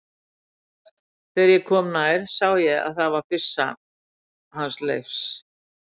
Þegar ég kom nær sá ég að það var byssan hans Leifs.